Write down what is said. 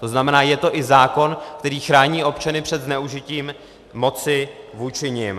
To znamená, je to i zákon, který chrání občany před zneužitím moci vůči nim.